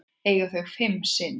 Eiga þau fimm syni.